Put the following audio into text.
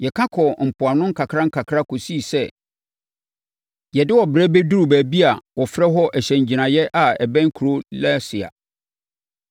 Yɛka kɔɔ mpoano nkakrankakra kɔsii sɛ yɛde ɔbrɛ bɛduruu baabi a wɔfrɛ hɔ Hyɛn Agyinaeɛ a ɛbɛn kuro Lasea.